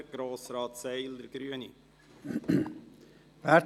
Zuerst hat Grossrat Seiler das Wort.